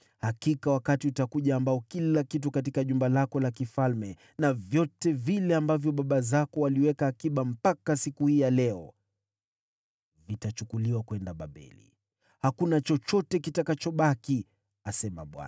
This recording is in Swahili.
Hakika wakati unakuja ambapo vitu vyote katika jumba lako la kifalme, na vyote ambavyo baba zako waliweka akiba mpaka siku hii, vitachukuliwa kwenda Babeli. Hakuna chochote kitakachosalia, asema Bwana .